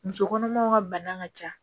Muso kɔnɔmaw ka bana ka ca